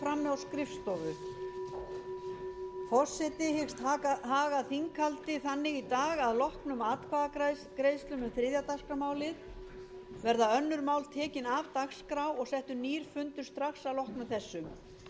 forseti hyggst haga þinghaldi þannig í dag að að loknum atkvæðagreiðslum um þriðja dagskrármálið verða önnur mál tekin af dagskrá og settur nýr fundur strax